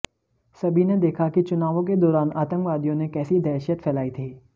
सभी ने देखा कि चुनावों के दौरान आतंकवादियों ने कैसी दहशत फैलाई थी